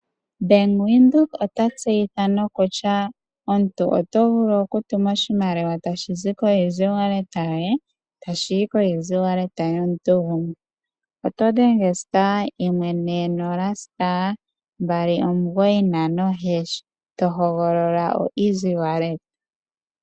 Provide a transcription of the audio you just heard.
Ombanga yaVenduka otayi tseyitha kutya omuntu otovulu okutuma oeasy wallet yoye tashi yi koeasy wallet yomuntu gumwe. Otodhenge *140*295# tohogolola oeasy wallet.